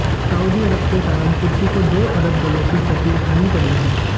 Saudi अरब के कारण तुर्की को दो अरब डालर की क्षति उठानी पड़ी है